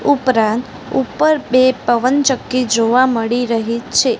ઉપરાંત ઉપર બે પવનચક્કી જોવા મળી રહી છે.